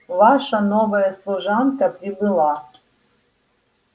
ваша новая служанка прибыла